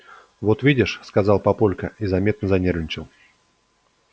вот видишь сказал папулька и заметно занервничал